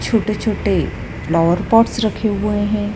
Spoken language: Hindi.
छोटे छोटे फ्लावर पॉट्स रखे हुए हैं।